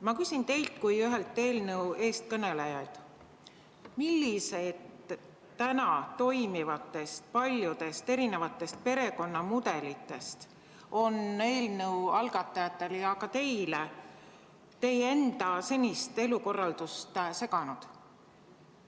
Ma küsin teilt kui eelnõu ühelt eestkõnelejalt: millised täna toimivatest paljudest erinevatest perekonnamudelitest on eelnõu algatajate ja ka teie senist elukorraldust seganud?